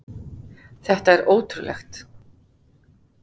Þetta er ótrúlegt.